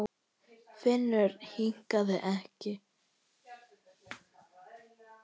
Finnur hikaði ekki.